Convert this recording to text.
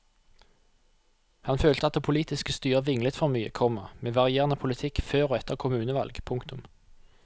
Han følte at det politiske styret vinglet for mye, komma med varierende politikk før og etter kommunevalg. punktum